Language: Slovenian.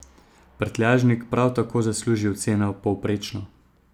Prtljažnik prav tako zasluži oceno povprečno.